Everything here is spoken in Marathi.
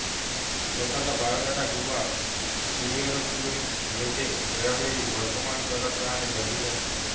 स्वतःचा बायोडाटा किंवा करिक्युलम व्हिटे वेळोवेळी वर्तमान करत राहणे गरजेचे असते